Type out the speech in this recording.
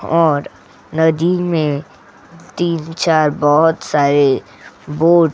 और नदी में तीन-चार बहोत सारे बोट --